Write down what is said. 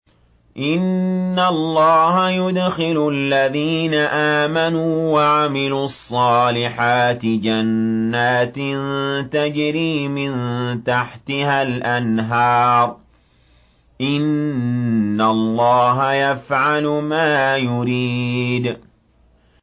إِنَّ اللَّهَ يُدْخِلُ الَّذِينَ آمَنُوا وَعَمِلُوا الصَّالِحَاتِ جَنَّاتٍ تَجْرِي مِن تَحْتِهَا الْأَنْهَارُ ۚ إِنَّ اللَّهَ يَفْعَلُ مَا يُرِيدُ